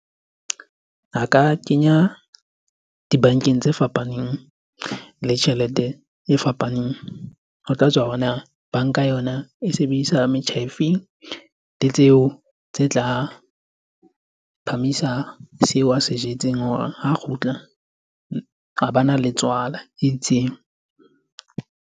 A ka kenya dibankeng tse fapaneng le tjhelete e fapaneng. Ho tla tswa hore na banka yona e sebedisa metjha e feng? Le tseo tse tla phamisa seo a se jetseng hore ha kgutla a bana le tswala e itseng.